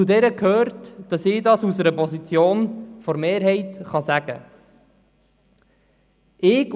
Zu ihr gehört, dass ich das aus einer Position der Mehrheit sagen kann: